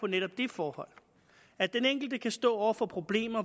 netop det forhold at den enkelte kan stå over for problemer